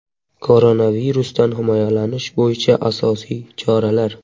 Koronavirusdan himoyalanish bo‘yicha asosiy choralar.